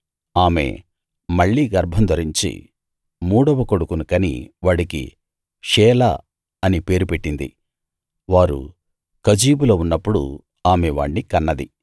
ఆమె మళ్ళీ గర్భం ధరించి మూడవ కొడుకును కని వాడికి షేలా అని పేరు పెట్టింది వారు కజీబులో ఉన్నప్పుడు ఆమె వాణ్ణి కన్నది